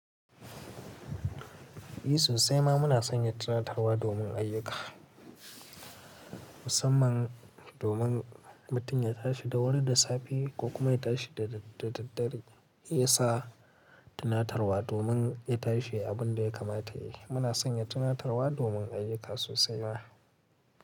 Eh sosai ma muna sanya tunatarwa domin ayyuka musamman domin mutum ya tashi da wuri da safe ko kuma ya tashi da dare. Sai yasa tunatarwa domin ya tashi abin da ya kamata yi. Muna sanya tunatarwa domin ayyuka sosai ma.